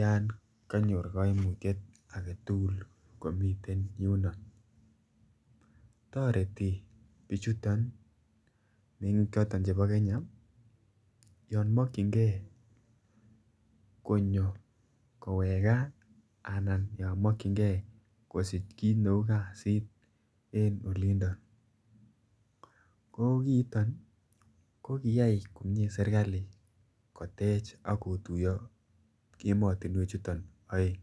yon konyor koimutiet agetugul komiten yundon. Toreti bichuton mengik choton chebo Kenya yon mokyingee konyo kowek gaa anan yon mokyingee kosich kit ne uu kazit en olindon ko kiiton ko kiyay komie serkali kotech ak kotuyo emotinwek chuton oeng